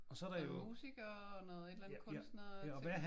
En musiker og noget et eller andet kunstnerting?